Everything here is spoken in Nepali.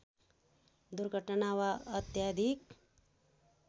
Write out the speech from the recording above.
दुर्घटना वा अत्याधिक